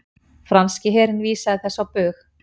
Franski herinn vísaði þessu á bug